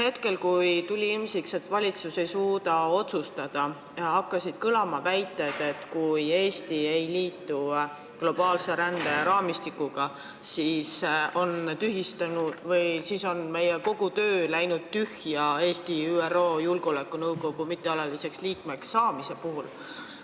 Sel ajal, kui tuli ilmsiks, et valitsus ei suuda otsustada, hakkasid kõlama väited, et kui Eesti ei liitu globaalse ränderaamistikuga, siis on läinud tühja kogu meie töö Eesti ÜRO Julgeolekunõukogu mittealaliseks liikmeks saamise nimel.